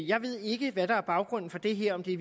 jeg ved ikke hvad der er baggrunden for det her er det